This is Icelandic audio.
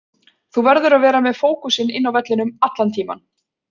Þú verður að vera með fókusinn inn á vellinum allan tímann.